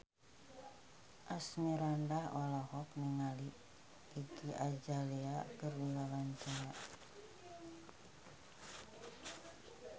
Asmirandah olohok ningali Iggy Azalea keur diwawancara